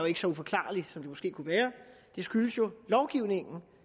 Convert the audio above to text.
ikke så uforklarlig som den måske kunne være det skyldes lovgivningen